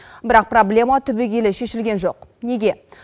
бірақ проблема түбегейлі шешілген жоқ неге